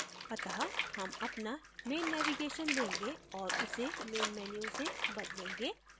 अत: हम अपना main navigation change और उसे main menu से बदलेंगे